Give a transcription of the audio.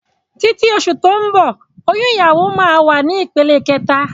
Títí oṣù tó ń bọ̀ oyún ìyàwó máa wà ní ìpele kẹta